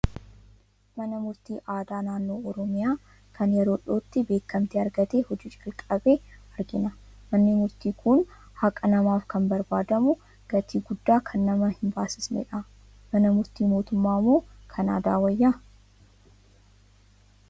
Mana murtii aadaa naannoo Oromiyaa, kan yeroo dhiyootti beekamtii argatee hojii jalqabe argina. Manni murtii kun haqa namaaf kan barbaadamu, gatii guddaa kan nama hin baasisnedha. Mana murtii mootummaa moo kan aadaa wayya?